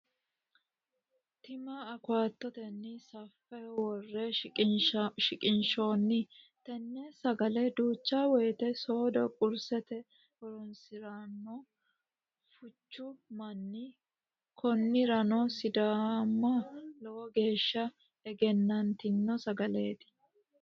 Tima awokafotenni safeho wore shiqinshooni, tene sagalr duucha woyite soodo qurisete horonsiranno fuuchu manni konirano sidaama lowo geesha eggenanitino sagaleeti